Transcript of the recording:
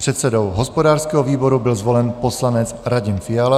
Předsedou hospodářského výboru byl zvolen poslanec Radim Fiala.